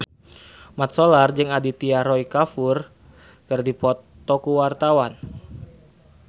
Mat Solar jeung Aditya Roy Kapoor keur dipoto ku wartawan